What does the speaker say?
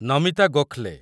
Namita Gokhale